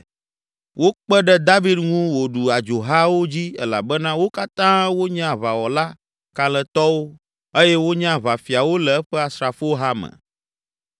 Wokpe ɖe David ŋu wòɖu adzohawo dzi elabena wo katã wonye aʋawɔla kalẽtɔwo eye wonye aʋafiawo le eƒe asrafoha me.